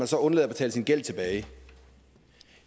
så undlader at betale sin gæld tilbage